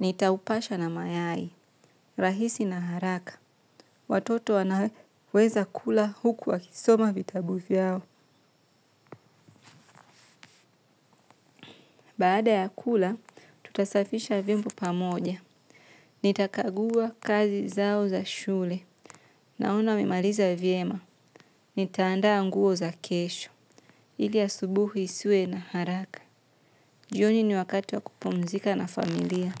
nitaupasha na mayai. Rahisi na haraka. Watoto wanaweza kula huku wakisoma vitabu vyao. Baada ya kula, tutasafisha vyombo pamoja. Nitakagua kazi zao za shule. Naona wamemaliza vyema. Nita andaa nguo za kesho. Ili asubuhi nisiwe na haraka. Jioni ni wakati wa kupumzika na familia.